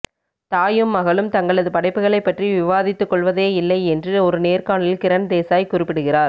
தாயும் மகளும் தங்களது படைப்புகளைப் பற்றி விவாதித்துக் கொள்வதேயில்லை என்று ஒரு நேர்காணலில் கிரண்தேசாய் குறிப்பிடுகிறார்